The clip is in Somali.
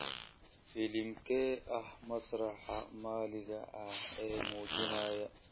filimkee ah masraxa maxaliga ah ee muujinaya